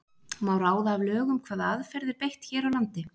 Má ráða af lögum hvaða aðferð er beitt hér á landi?